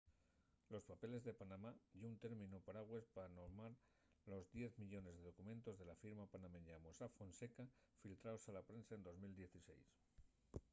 los papeles de panamá” ye un términu paragües pa nomar los diez millones de documentos de la firma panameña mossack fonseca filtraos a la prensa en 2016